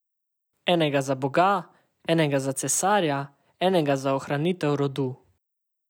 Enega za boga, enega za cesarja, enega za ohranitev rodu.